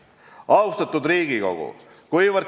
Austatud Riigikogu!